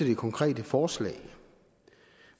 det konkrete forslag